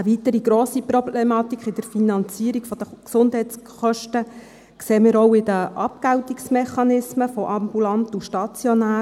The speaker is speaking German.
Eine weitere grosse Problematik in der Finanzierung der Gesundheitskosten sehen wir auch in den Abgeltungsmechanismen von ambulanten und stationären Leistungen: